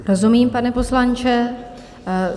Rozumím, pane poslanče.